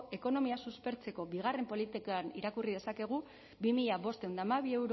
ekonomia suspertzeko bigarren politikan irakurri dezakegu bi mila bostehun eta hamabi